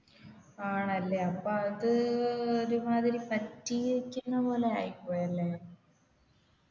ആണല്ലേ അപ്പൊ അതു ഒരുമാതിരി പറ്റീക്കുന്നപോലെ ആയിപോയല്ലേ